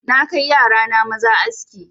Na kai yara na maza aski